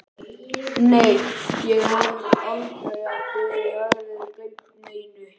Nei, ég hélt aldrei að þið hefðuð gleymt neinu.